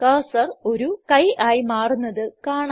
cursor ഒരു കൈ ആയി മാറുന്നത് കാണാം